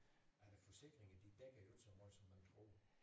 At øh forsikringerne de dækker jo ikke så meget som man tror